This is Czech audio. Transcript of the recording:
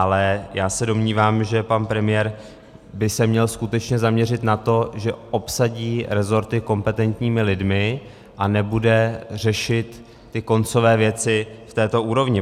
Ale já se domnívám, že pan premiér by se měl skutečně zaměřit na to, že obsadí rezorty kompetentními lidmi a nebude řešit ty koncové věci na této úrovni.